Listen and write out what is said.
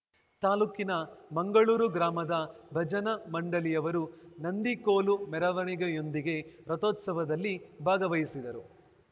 ತಾಲೂಕಿನ ಮಂಗಳೂರು ಗ್ರಾಮದ ಭಜನಾ ಮಂಡಳಿಯವರು ನಂದಿಕೋಲು ಮೆರವಣಿಗೆಯೊಂದಿಗೆ ರಥೋತ್ಸವದಲ್ಲಿ ಭಾಗವಹಿಸಿದರು